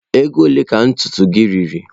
Ego ole ka ntutu gị riri?